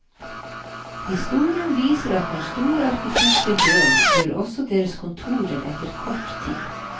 Historien viser at når store arkitekter dør, dør også deres kontorer etter kort tid.